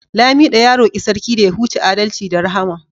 lamido ya roki Sarki da ya huce adalci da Rahama